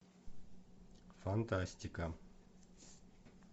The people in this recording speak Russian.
фантастика